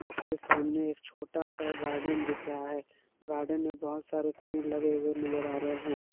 उसके सामने एक छोटा सा गार्डन दिख रहा है गार्डन में बहुत सारे पेड़ लगे हुए नजर आ रहे हैं।